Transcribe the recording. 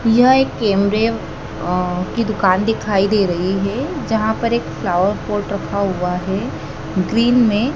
यह एक कैंबियम अ की दुकान दिखाई दे रही है जहां पर एक फ्लावर पॉट रखा हुआ है ग्रीन में--